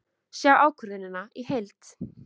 Sjá ákvörðunina í heild